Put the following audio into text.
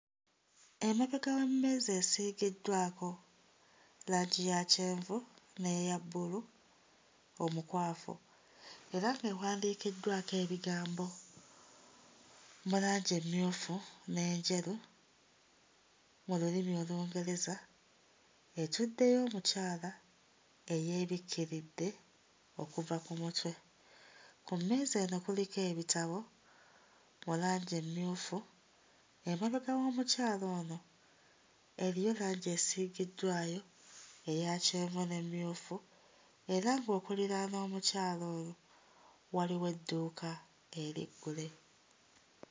Emabega w'emmeeza esiigiddwako langi ya kyenvu n'eya bbulu omukwafu era ng'ewandiikiddwako ebigambo mu langi emmyufu n'enjeru mu lulimi Olungereza etuddeyo omukyala eyeebikkiridde okuva ku mutwe. Ku mmeeza eno kuliko ebitabo mu langi emmyufu. Emabega w'omukyala ono eriyo langi esiigiddwayo eya kyenvu n'emmyufu era ng'okuliraana omukyala oyo waliwo edduuka eriggule.